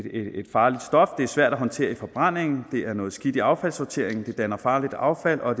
farligt stof det er svært at håndtere i forbrændingen det er noget skidt i affaldssorteringen det danner farligt affald og